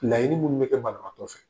Laɲini minnu bɛ kɛ banabagatɔ fɛ.